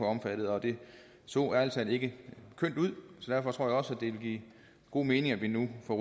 omfattet og det så ærlig talt ikke kønt ud derfor tror jeg også at det vil give god mening at vi nu får